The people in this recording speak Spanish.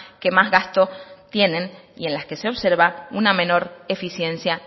que más gasto tienen y en las que se observa una menor eficiencia